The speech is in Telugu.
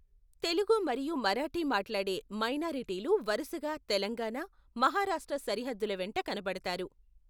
తెలుగు మరియు మరాఠీ మాట్లాడే మైనారిటీలు వరుసగా తెలంగాణ, మహారాష్ట్ర సరిహద్దుల వెంట కనపడతారు.